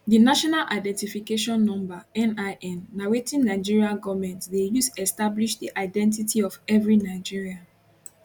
di national identification number nin na wetin nigeria goment dey use establish di identity of every nigerian